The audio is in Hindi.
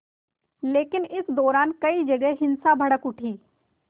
लेकिन इस दौरान कई जगह हिंसा भड़क उठी